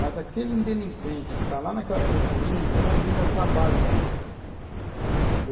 Mas aquele delinquente que está lá naquela periferia um dia vai vir dar trabalho para você aqui.